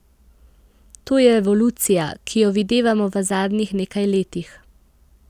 To je revolucija, ki jo videvamo v zadnjih nekaj letih.